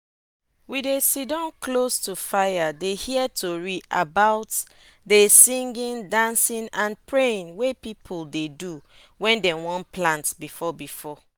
we dey sitdon close to fire dey hear tori about dey singing dancing and praying wey people dey do wen dem wan plant before before